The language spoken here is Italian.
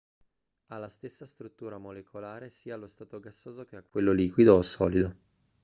ha la stessa struttura molecolare sia allo stato gassoso che a quello liquido o solido